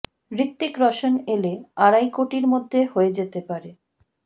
হৃতিক রোশন এলে আড়াই কোটির মধ্যে হয়ে যেতে পারে